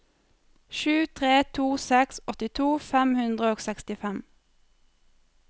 sju tre to seks åttito fem hundre og sekstifem